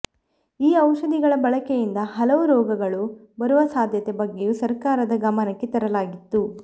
ಈ ಔಷಧಿಗಳ ಬಳಕೆಯಿಂದ ಹಲವು ರೋಗಗಳು ಬರುವ ಸಾಧ್ಯತೆ ಬಗ್ಗೆಯೂ ಸರ್ಕಾರದ ಗಮನಕ್ಕೆ ತರಲಾಗಿತ್ತು